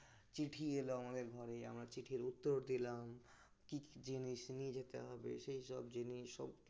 চিঠি এলো আমাদের ঘরে আমরা চিঠির উত্তর দিলাম কি কি জিনিস নিয়ে যেতে হবে সেই সব জিনিস সমস্ত কিছু